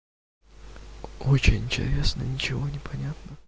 очень интересно ничего не понятно